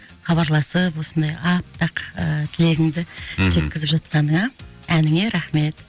хабарласып осындай аппақ ы тілегіңді мхм жеткізіп жатқаныңа әніңе рахмет